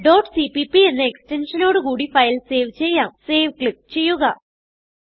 cpp എന്ന extension നോട് കൂടി ഫയൽ സേവ് ചെയ്യാം സേവ് ക്ലിക്ക് ചെയ്യുക